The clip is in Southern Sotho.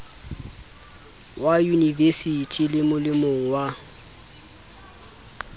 wa yunivesithi le molemong wa